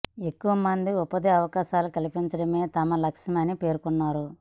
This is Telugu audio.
ఎక్కువ మందికి ఉపాధి అవకాశాలు కల్పించడమే తమ లక్ష్యం అని పేర్కొన్నారు